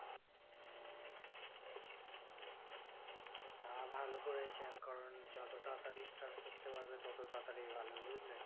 তা ভালো করেছেন কারণ যত তাড়াতাড়ি start করতে পারবে তত তাড়াতাড়ি ভালো বুঝলে?